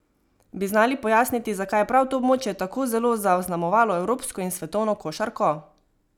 Bi znali pojasniti, zakaj je prav to območje tako zelo zaznamovalo evropsko in svetovno košarko?